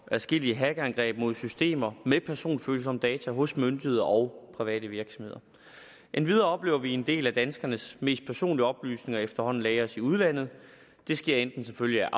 adskillige hackerangreb mod systemer med personfølsomme data hos myndigheder og private virksomheder endvidere oplever vi at en del af danskernes mest personlige oplysninger efterhånden lagres i udlandet det sker enten som følge